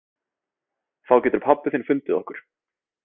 Þá getur pabbi þinn fundið okkur.